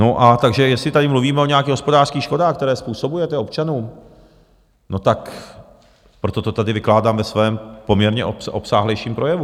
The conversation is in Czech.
No a takže jestli tady mluvíme o nějakých hospodářských škodách, které způsobujete občanům, no tak proto to tady vykládám ve svém poměrně obsáhlejším projevu.